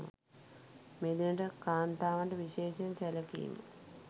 මෙදිනට කාන්තාවට විශේෂයෙන් සැළකීම